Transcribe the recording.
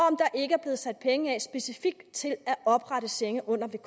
er sat penge af specifikt til at oprette sengepladser